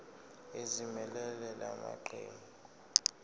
ezimelele la maqembu